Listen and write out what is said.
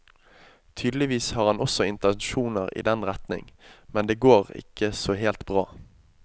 Tydeligvis har han også intensjoner i den retning, men det går ikke så helt bra.